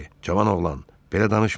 Cavan oğlan, belə danışma.